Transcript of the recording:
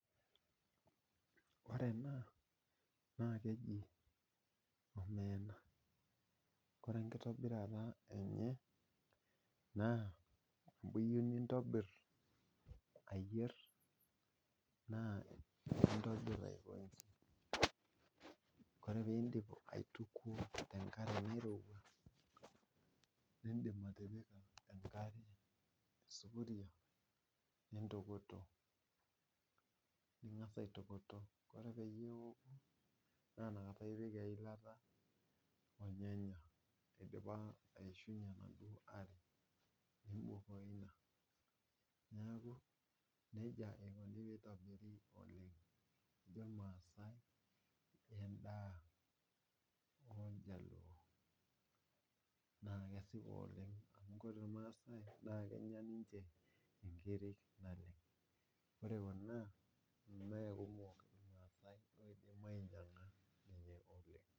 Ore ena naa keji omeena, ore enkitobirata enye naa teniyieu nitobir ayier naa intobir kwansa ,ore pee indip aitukuo tenkare nairowua ,nindim atipika enkare esupuria naitokitok, nengas aitokitokie ore peyie eoo nipik eilata ornyanya eidipa aishunye enaduo are .neeku nejia eikoni pee eitobiri oleng, ejo irmaasai endaa oljaluo. naa kesipa oleng amu ore ninche irmaasai naa kenya ninche nkiri naleng ,ore ena nemekumok irmaasai oidim ainyanga ninye .